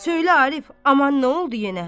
Söylə Arif, aman nə oldu yenə?